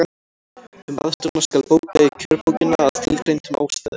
Um aðstoðina skal bóka í kjörbókina, að tilgreindum ástæðum.